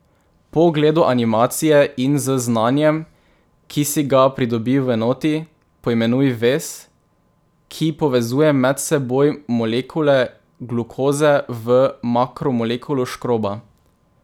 Po ogledu animacije in z znanjem, ki si ga pridobil v enoti, poimenuj vez, ki povezuje med seboj molekule glukoze v makromolekulo škroba.